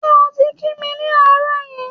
Ṣé o ti kí mi ni àárọ̀ yí?